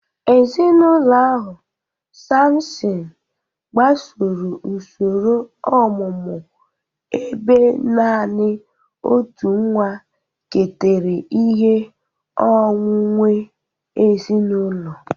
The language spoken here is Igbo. Ezinụlọ ahụ, Sampson, gbasoro usoro ọmụmụ ebe naanị otu nwa ketara ihe onwunwe ezinụlọ.